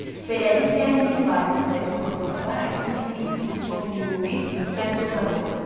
Beləliklə, Nil vadisindəki torpaqlar əkinçilik üçün çox münbit, məhsuldar olurdu.